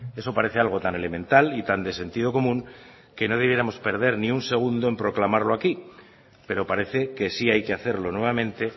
eso parece algo tan elemental y tan de sentido común que no debiéramos perder ni un segundo en proclamarlo aquí pero parece que sí hay que hacerlo nuevamente